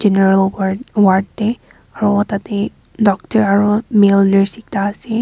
ward ward de aro tade doctor aro male nurse ekta ase.